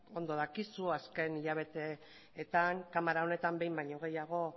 ondo dakizu azken hilabeteetan kamara honetan behin baino gehiago